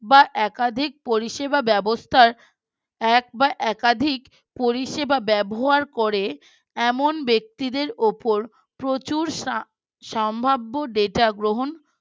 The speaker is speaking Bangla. বা একাধিক পরিষেবা ব্যবস্থার এক বা একাধিক পরিষেবা ব্যবহার করে এমন ব্যক্তিদের উপর প্রচুর সা সম্ভাব্য Data গ্রহণ